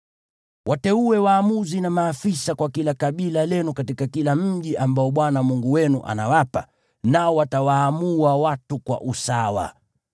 Wateue waamuzi na maafisa kwa kila kabila lenu katika kila mji ambao Bwana Mungu wenu anawapa, nao watawaamua watu kwa usawa.